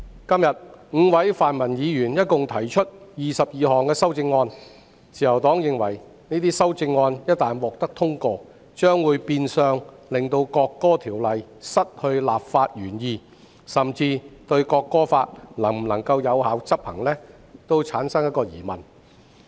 今天 ，5 位泛民議員共提出22項修正案，自由黨認為這些修正案一旦獲得通過，將會變相令《國歌條例草案》失去立法原意，甚至《國歌法》能否有效執行也成疑。